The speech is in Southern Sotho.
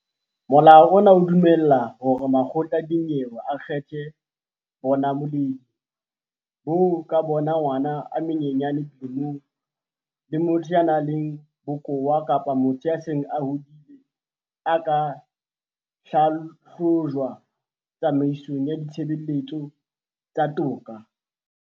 Molao ona o dumella hore makgotla a dinyewe a kgethe bonamoledi boo ka bona ngwana e monyenyane dilemong, le motho ya nang le bokowa kapa motho ya seng a hodile a ka hlahlojwa tsamaisong ya ditshebeletso tsa toka.